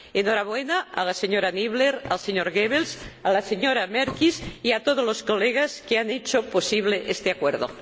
Enhorabuena a la señora Niebler, al señor Goebbels, a la señora Merkies y a todos los colegas que han hecho posible este acuerdo.